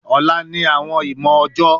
Ọla ni awọn ìmọ ọjọ